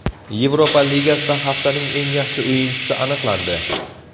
Yevropa Ligasida haftaning eng yaxshi o‘yinchisi aniqlandi.